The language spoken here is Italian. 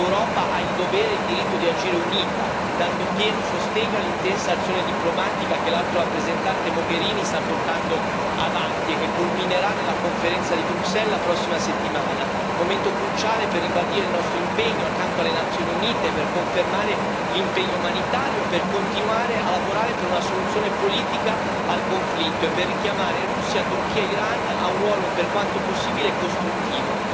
L'Europa ha il dovere e il diritto di agire unita, dando pieno sostegno all'intensa azione diplomatica che l'Alto rappresentante Mogherini sta portando avanti e che culminerà nella conferenza di Bruxelles la prossima settimana, momento cruciale per ribadire il nostro impegno accanto alle Nazioni Unite, per confermare l'impegno umanitario, per continuare a lavorare a una soluzione politica al conflitto e per richiamare Russia, Turchia e Iran a un ruolo, per quanto possibile, costruttivo.